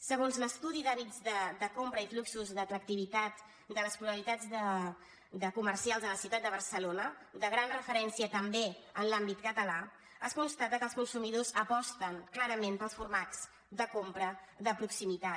segons l’estudi d’hàbits de compra i fluxos d’atractivitat de les polaritats comercials a la ciutat de barcelona de gran referència també en l’àmbit català es constata que els consumidors aposten clarament pels formats de compra de proximitat